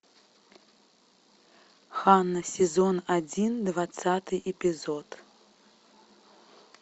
ханна сезон один двадцатый эпизод